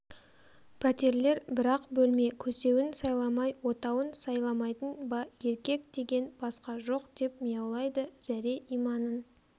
пәтерлер бір-ақ бөлме көсеуін сайламай отауын сайламайтын ба еркек деген басқа жоқ деп мияулайды зәре-иманын